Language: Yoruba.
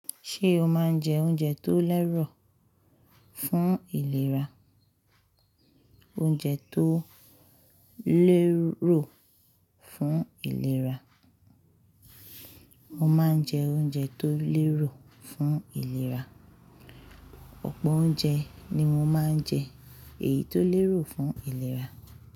Ṣé o máa ń jẹ oúnjẹ tó lérò fún ìlera? Oúnjẹ tó lérò fún ìlera. Mo máa ń jẹ oúnjẹ tó lérò fún ìlera. Ọ̀pọ̀ oúnjẹ ni mo máa ń jẹ èyí tó lérò fún ìlera.